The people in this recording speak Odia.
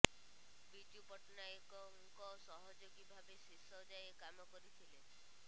ବିଜୁ ପଟ୍ଟନାୟକଙ୍କ ସହଯୋଗୀ ଭାବେ ଶେଷ ଯାଏ କାମ କରିଥିଲେ